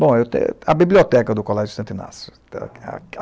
Bom, a biblioteca do Colégio Santo Inácio.